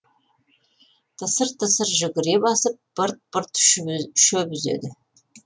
тысыр тысыр жүгіре басып бырт бырт шөп үзеді